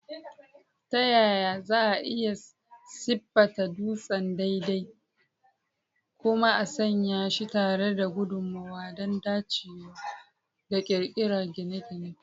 Ta yaya za a iya siffata dutsen daidai kuma a sanya shi tare da guduma don dacewa da ƙirar gine-gine?